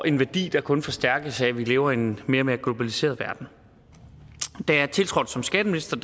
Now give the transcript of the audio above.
en værdi der kun forstærkes af at vi lever i en mere og mere globaliseret verden da jeg tiltrådte som skatteminister